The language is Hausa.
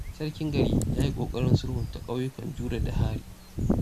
Sarkin gari ya yi ƙoƙarin sulhunta ƙauyukan Jure da Hari.